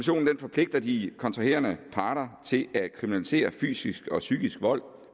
forpligter de kontraherende parter til at kriminalisere fysisk og psykisk vold